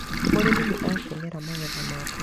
Mũrĩmi nĩ akenera magetha make.